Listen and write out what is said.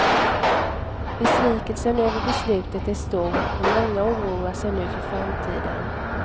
Besvikelsen över beslutet är stor och många oroar sig nu för framtiden.